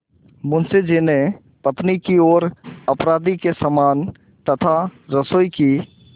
मुंशी जी ने पत्नी की ओर अपराधी के समान तथा रसोई की